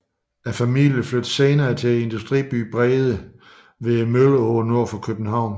Familien flyttede senere til industribyen Brede ved Mølleåen nord for København